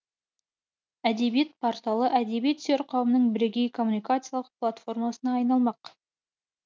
әдебиет порталы әдебиет сүйер қауымның бірегей коммуникациялық платформасына айналмақ